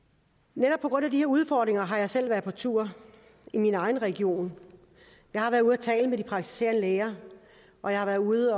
netop på grund af de her udfordringer har jeg selv været på tur i min egen region jeg har været ude at tale med de praktiserende læger og jeg har været ude